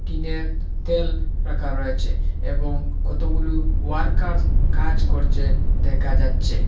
টিনে তেল রাখা রয়েছে এবং কতগুলো ওয়ার্কার কাজ করছে দেখা যাচ্ছে।